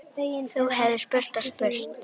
Þú hefðir spurt og spurt.